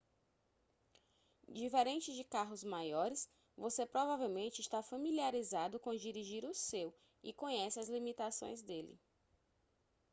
diferente de carros maiores você provavelmente está familiarizado com dirigir o seu e conhece as limitações dele